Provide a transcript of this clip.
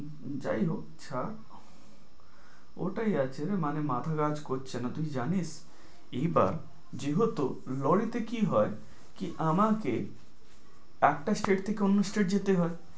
যাই হোক ছার, ওটাই আছেরে মানে মাথা কাজ করছে না। তুই জানিস এই বার যেহেতু lorry তে কি হয়, কি~ আমাকে একটা state থেকে অন্য state এ যেতে হয়।